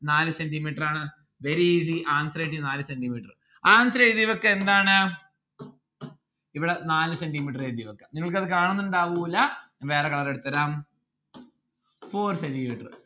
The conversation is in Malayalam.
നാല് centi metre ആണ് very easy answer കിട്ടി നാല് centi metre. answer എഴുതി വെക്ക് എന്താണ് ഇവിടെ നാല് centi metre എഴുതി വെക്കാം നിങ്ങൾക്ക് അത് കാണുന്നുണ്ടാവൂല്ല വേറെ colour എടുത്തരാം four centi metre